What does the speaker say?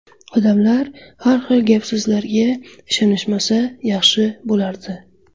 Odamlar har xil gap-so‘zlarga ishonishmasa yaxshi bo‘lardi.